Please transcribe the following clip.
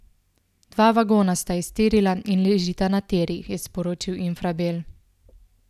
Dva vagona sta iztirila in ležita na tirih, je sporočil Infrabel.